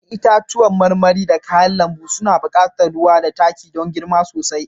Ya'yan itacen marmari da kayan lambu suna buƙatar ruwa da Taki don girma sosai